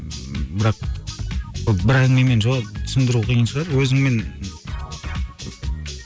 бірақ бір әңгімемен жауап түсіндіру қиын шығар өзіңмен